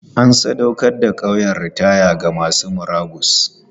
An sadaukar da ƙauyen ritaya ga masu murabus.